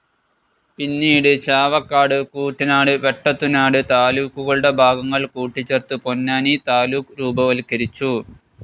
പിന്നീട് ചാവക്കാട്, കൂറ്റനാട്, വെട്ടത്തുനാട് താലൂക്കുകളുടെ ഭാഗങ്ങൾ കൂട്ടിച്ചേർത്ത് പൊന്നാനി താലൂക്ക് രൂപവത്കരിച്ചു.